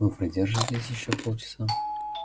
вы продержитесь ещё полчаса